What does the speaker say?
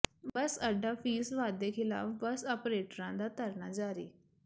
ਬੱਸ ਅੱਡਾ ਫ਼ੀਸ ਵਾਧੇ ਖਿਲਾਫ਼ ਬੱਸ ਆਪ੍ਰੇਟਰਾਂ ਦਾ ਧਰਨਾ ਜਾਰੀ